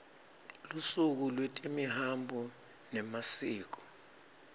lusuku lwetemihambo nemasiko